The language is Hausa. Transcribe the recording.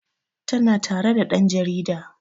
Tana tare da ɗan jarida